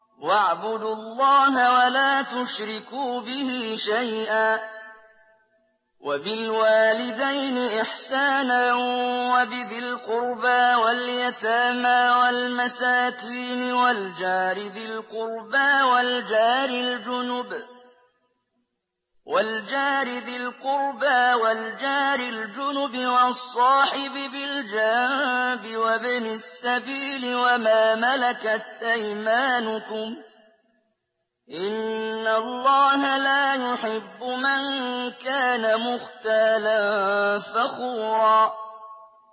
۞ وَاعْبُدُوا اللَّهَ وَلَا تُشْرِكُوا بِهِ شَيْئًا ۖ وَبِالْوَالِدَيْنِ إِحْسَانًا وَبِذِي الْقُرْبَىٰ وَالْيَتَامَىٰ وَالْمَسَاكِينِ وَالْجَارِ ذِي الْقُرْبَىٰ وَالْجَارِ الْجُنُبِ وَالصَّاحِبِ بِالْجَنبِ وَابْنِ السَّبِيلِ وَمَا مَلَكَتْ أَيْمَانُكُمْ ۗ إِنَّ اللَّهَ لَا يُحِبُّ مَن كَانَ مُخْتَالًا فَخُورًا